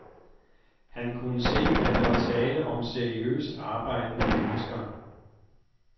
Han kunne se, at der var tale om seriøst arbejdende mennesker.